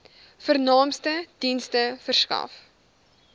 vernaamste dienste verskaf